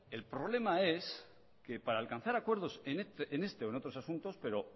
el problema es que para alcanzar acuerdos en este o en otros asuntos pero